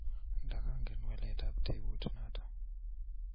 ndagangen waletab tebut noto